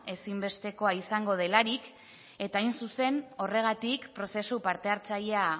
ezinbestekoa izango delarik eta hain zuzen horregatik prozesu parte hartzailea